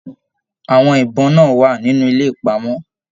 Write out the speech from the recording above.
Àwọn ibọn náà wà nínú ilé ìpamọ.